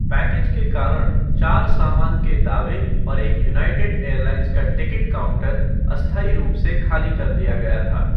Package के कारण, चार सामान के दावे और एक यूनाइटेड एयरलाइंस का टिकट काउंटर अस्थायी रूप से खाली कर दिया गया था।